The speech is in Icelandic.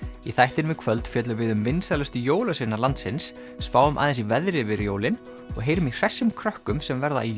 í þættinum í kvöld fjöllum við um vinsælustu jólasveina landsins spáum aðeins í veðrið yfir jólin og heyrum í hressum krökkunum sem verða í